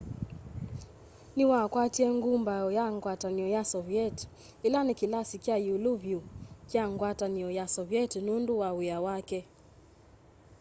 niwakwatie ngumbau ya ngwatanio ya soviet ila ni kilasi kya iulu vyu kya ngwatanio ya soviet nundu wa wia wake